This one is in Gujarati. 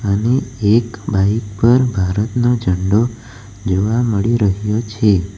અને એક બાઈક પર ભારતનો ઝંડો જોવા મળી રહ્યો છે.